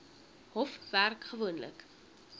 hof werk gewoonlik